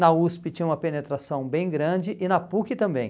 Na USP tinha uma penetração bem grande e na PUC também.